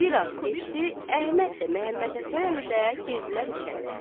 Bir az keçdi, Əhməd də Məmmədhəsən əmi də girdilər içəri.